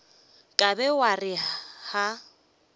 ka be wa re ga